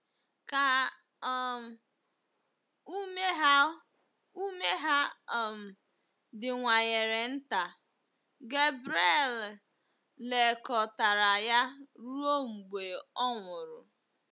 Ka um ume ha ume ha um diwanyere nta, Gabriele lekọtara ya ruo mgbe ọ nwụrụ.